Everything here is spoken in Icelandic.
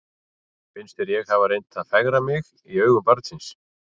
Finnst þér ég hafa reynt að fegra mig í augum barnsins?